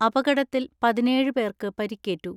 അപകടത്തിൽ പതിനേഴ് പേർക്ക് പരിക്കേറ്റു.